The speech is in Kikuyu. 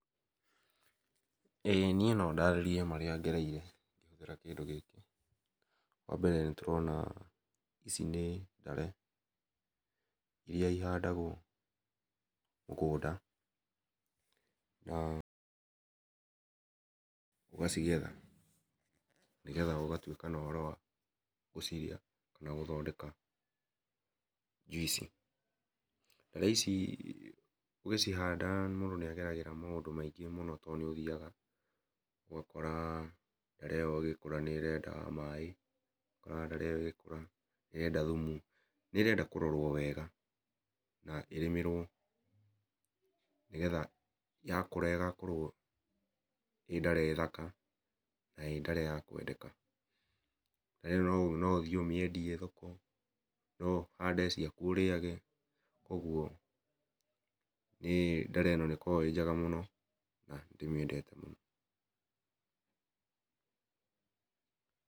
Ĩ niĩ no ndarĩrie marĩa ngereire ngĩhũthĩra kĩndũ gĩkĩ, wambele nĩ ndĩrona ici ndĩ ndare iria ihandagwo mũgũnda na ũgacigetha ũgatũĩka na ũhoro wa gũcirĩa na gũthondeka jũici . Ndare ici ũgĩcihanda mũndũ nĩ ageragĩra maingĩ mũno to nĩ ũthiaga ũgakora ndare ĩyo ĩgĩkũra nĩ ĩrenda maĩ nĩ ũkoraga ndare ĩyo ĩgĩkũra nĩ ĩrenda thũmũ nĩ ĩrenda kũrorwo wega na ĩrĩmĩrwo nĩgetha yakũra ĩgakorwo ĩ ndare thaka na ĩ ndare ya kwendeka ndare ĩyo no ũthiĩ ũmĩendie thoko no ũhande ciakũ ũrĩage kũogũo nĩ ndare ĩyo nĩ ĩkoragwo ĩ njega mũno na nĩ ndĩmĩendete mũno.